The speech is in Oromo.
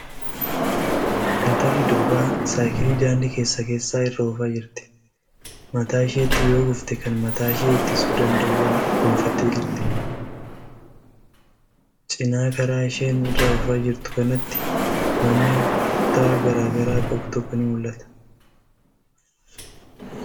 Intalli durbaa saaykilii daandii keessa keessaa irra oofaa jirti. Mataa isheetti yoo kuftee kan mataashee ittisuu danda'au goonfattee jirti. Cinaa karaa isheen irra oofaa jirtu kanaatti manni kutaa garaa garaa qabu tokko ni mul'ata.